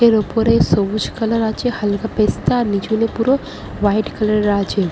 এর উপরে সবুজ কালার আছে হালকা পেস্তাআর নিচুনে পুরো ওয়াইট কালার -এর আছে ।